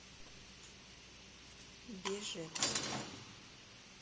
бежецк